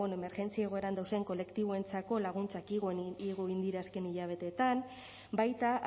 bueno emergentzia egoeran dauzen kolektiboentzako laguntzak igo egin dira azken hilabeteetan baita